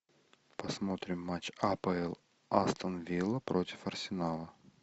посмотрим матч апл астон вилла против арсенала